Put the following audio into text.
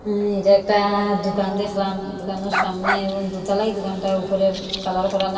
অ্যা এটা একটা দুকান দেখলাম দুকানের সামনে এবং দুতালায় দুকানটার উপরে কালার করা নাই।